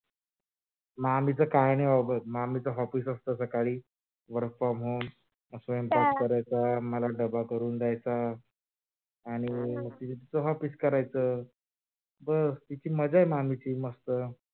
मामीच काही नाही बाबा मामीच office असत सकाळी work from home स्वयंपाक करायजा मला डबा करून द्यायचा आणि तीच office करायच बस तिची मजा आहे, मामीची मस्त